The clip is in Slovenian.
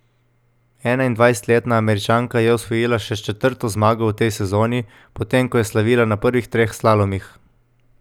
Enaindvajsetletna Američanka je osvojila še četrto zmago v tej sezoni, potem ko je slavila na prvih treh slalomih.